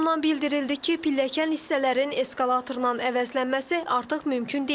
Qurumdan bildirildi ki, pilləkən hissələrin eskalatordan əvəzlənməsi artıq mümkün deyil.